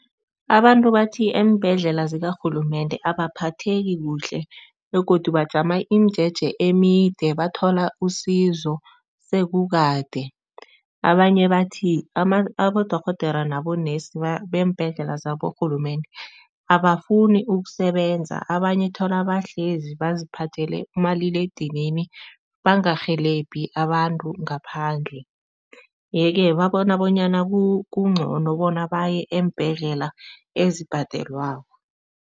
Abantu bathi eembhedlela zikarhulumende abaphetheki kuhle begodu bajama imijeje emide, bathola usizo sekukade. Abanye bathi abodorhodere nabo-nurse beembhedlela zaborhulumende abafuni ukusebenza, abanye thola bahlezi baziphathele umaliledinini, bangarhelebhi abantu ngaphandle yeke babona bonyana kungcono bona baye eembhedlela ezibhadelwako.